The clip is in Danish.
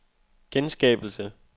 genskabelse